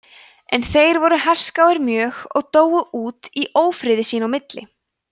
en þeir voru herskáir mjög og dóu út í ófriði sín á milli